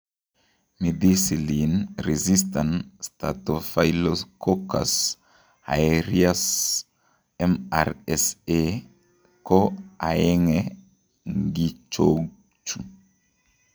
Methicillin resistant staphyloccocus aereus MRSA ko aeng'e ng' ichochu